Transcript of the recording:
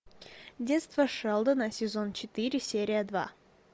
детство шелдона сезон четыре серия два